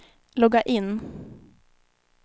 logga in